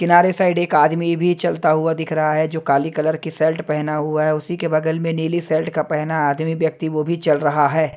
किनारे साइड एक आदमी भी चलता हुआ दिख रहा है जो काली कलर की शर्ट पहना हुआ है उसी के बगल में नीली शर्ट का पहना आदमी व्यक्ति वो भी चल रहा है।